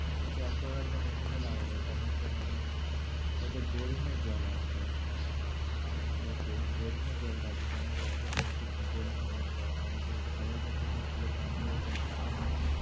আচ্ছা aquaguard একটা machine তো লাগাবো তখন তো মানে ঐ তো boring এর জল আসবে। ওতে boring এর জলটা আসবে কেননা ওটা তো নিচ দিয়ে boring এর line করা, আমাদের খাওয়ার জন্য তো শুধু time কলের জলটা নেওয়া হয়।